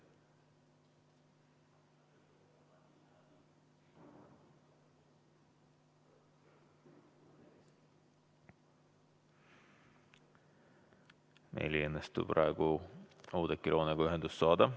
Meil ei õnnestu praegu Oudekki Loonega ühendust saada.